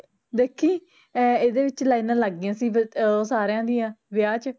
ਦੇਖੀ ਐ ਇਹਦੇ ਵਿੱਚ ਲਾਈਨਾਂ ਸੀ ਵ ਆ ਸਾਰਿਆ ਦੀਆ ਵਿਆਹ ਚ